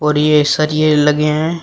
और ये सरिये लगे हैं।